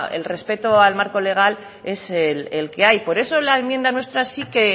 el respeto al marco legal es el que hay por eso la enmienda nuestra sí que